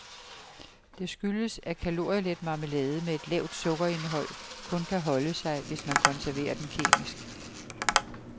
Det skyldes, at kalorielet marmelade med et lavt sukkerindhold kun kan holde sig, hvis man konserverer den kemisk.